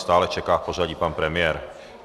Stále čeká v pořadí pan premiér.